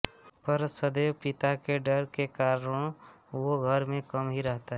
पर सदैव पिता के डर के कारणं वो घर में कम ही रहता है